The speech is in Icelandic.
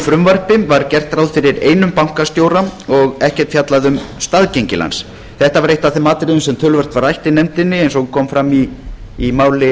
frumvarpi var gert ráð fyrir einum bankastjóra og ekkert fjallað um staðgengil hans þetta var eitt af þeim atriði sem töluvert var rætt í nefndinni eins og kom fram í máli